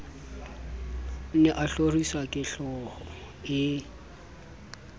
ne a hloriswa kehlooho e